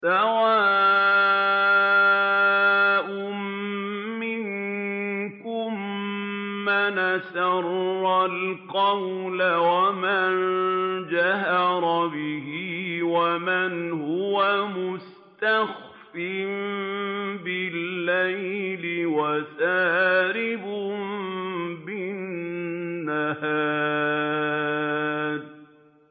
سَوَاءٌ مِّنكُم مَّنْ أَسَرَّ الْقَوْلَ وَمَن جَهَرَ بِهِ وَمَنْ هُوَ مُسْتَخْفٍ بِاللَّيْلِ وَسَارِبٌ بِالنَّهَارِ